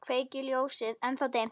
Kveiki ljósið, ennþá dimmt.